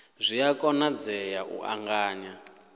zwi a konadzea u ṱanganya